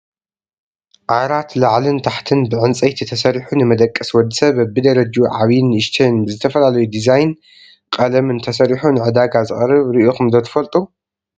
ዓራት ላዕልን ታሕትን ብዕንፀይቲ ተሰሪሑ ንመደቀሲ ወዲ ሰብ በቢደረጅኡ ዓብይን ንእሽተይን ብዝተፈላለዩ ድዛይን ቀለምን ተሰሩሑ ንዕዳጋ ዝቀረበ ርኢኩም ዶ ትፈልጡ?